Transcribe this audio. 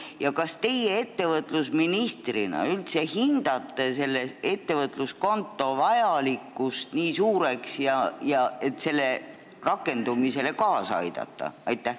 Ja kas teie ettevõtlusministrina üldse hindate selle ettevõtluskonto vajalikkust nii suureks, et selle rakendumisele kaasa aidata?